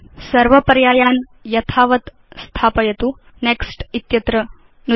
सर्व पर्यायान् यथावत् स्थापयतु नेक्स्ट् इत्यत्र नुदतु